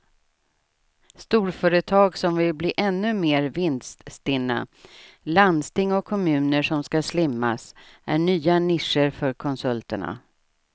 Storföretag som vill bli ännu mer vinststinna, landsting och kommuner som ska slimmas är nya nischer för konsulterna.